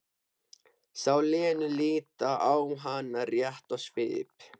Sá Lenu líta á hana rétt í svip.